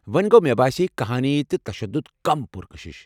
وۄنۍ گوٚو، مےٚ باسے كہانی تہٕ تشدُد کم پُرکشش۔